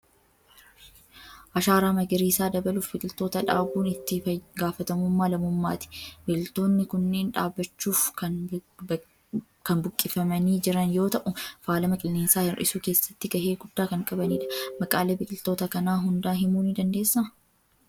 Ashaaraa magariisaa dabaluuf biqiltoota dhaabuun itti gaafatamummaa lammummaati. Biqiltoonni kunneen dhaabachuuf kan buqqifamanii jiran yoo ta'u, faalama qilleensaa hir'isuu keessatti gaheee guddaa kan qabanidha. Maqaalee biqiltoota kanaa hunda himuu ni dandeessaa?